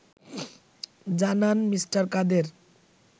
জানান মি. কাদের